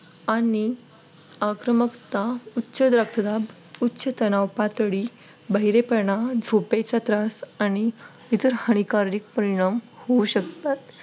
आणि आक्रमकता उच्च रक्तदाब उच्च तणाव पातळी बहिरेपणा झोपेचा त्रास आणि इतर हानिकारक परिणाम होऊ शकतात.